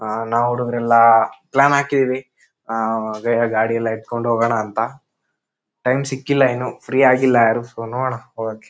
ಆಹ್ಹ್ ನಾವು ಹುಡುಗರೆಲ್ಲಾ ಪ್ಲಾನ್ ಹಾಕಿವಿ ಆಹ್ ಬೇರೆ ಗಾಡಿಯಲ್ಲ ಎತ್ಕೊಂಡ್ ಹೋಗಣ ಅಂತ. ಟೈಮ್ ಸಿಕ್ಕಿಲ್ಲಾ ಇನ್ನು ಫ್ರೀ ಆಗಿಲ್ಲಾ ಯಾರು ಸೋ ನೋಡಣ ಹೋಗಕೆ --